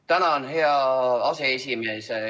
Tänan, hea aseesimees!